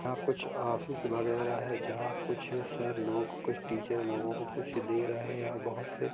यहा कुछ ऑफिस वगेरा है जहाँ कुछ सर लोग कुछ टीचर लोगो को कुछ दे रहे हे और बहुत से--